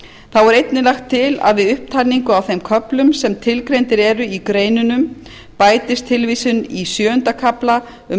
þá er einnig lagt til að við upptalningu á þeim köflum sem tilgreindir eru í greinunum bætist tilvísun í sjöunda kafla um